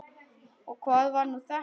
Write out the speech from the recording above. Og hvað var nú þetta!